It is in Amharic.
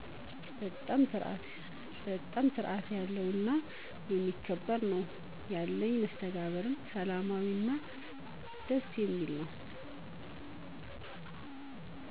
በጣም ስርአት ያለው እና የሚከባበር ነወ። ያለኝ መስተጋብርም ሰላማዊ እና ደስ የሚል ነው